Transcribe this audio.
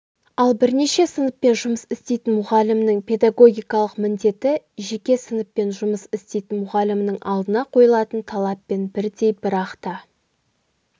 ал бірнеше сыныппен жұмыс істейтін мұғалімнің педагогикалық міндеті жеке сыныппен жұмыс істейтін мұғалімнің алдына қойылатын талаппен бірдей бірақта